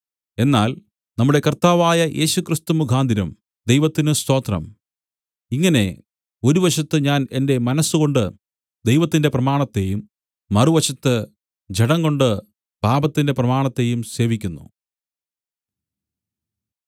എന്നാൽ നമ്മുടെ കർത്താവായ യേശുക്രിസ്തു മുഖാന്തരം ദൈവത്തിന് സ്തോത്രം ഇങ്ങനെ ഒരു വശത്ത് ഞാൻ എന്റെ മനസ്സുകൊണ്ടു ദൈവത്തിന്റെ പ്രമാണത്തെയും മറുവശത്ത് ജഡംകൊണ്ട് പാപത്തിന്റെ പ്രമാണത്തെയും സേവിക്കുന്നു